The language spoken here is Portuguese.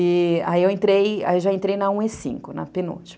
E, aí eu entrei, aí já entrei na um e cinco, na penúltima.